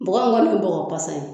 Bɔgɔ min kana bɔgɔ pasa ye.